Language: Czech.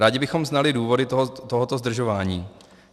Rádi bychom znali důvody tohoto zdržování.